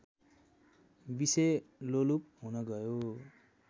विषयलोलुप हुन गयो